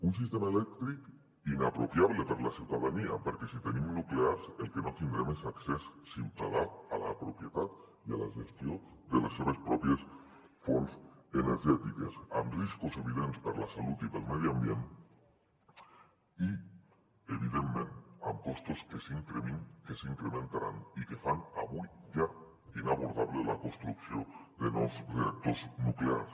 un sistema elèctric inapropiable per a la ciutadania perquè si tenim nuclears el que no tindrem és accés ciutadà a la propietat i a la gestió de les seves pròpies fonts energètiques amb riscos evidents per a la salut i per al medi ambient i evidentment amb costos que s’incrementaran i que fan avui ja inabordable la construcció de nous reactors nuclears